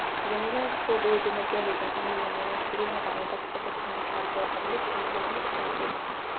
жәмилә үш жыл бойы гемодиализдің көмегімен өмір сүрген еді ал батысқазақстандық абзал әділов жәмиланың шарасыз